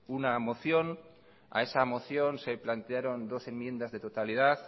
una moción a esa moción se plantearon dos enmiendas de totalidad